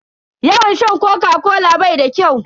Yawan sha Koka-kola bai da kyau.